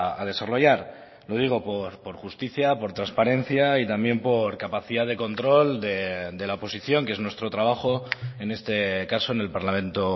a desarrollar lo digo por justicia por transparencia y también por capacidad de control de la oposición que es nuestro trabajo en este caso en el parlamento